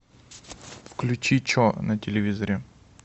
включи че на телевизоре